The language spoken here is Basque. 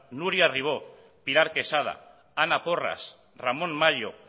nuria ribó pilar quesada ana porras ramón mayo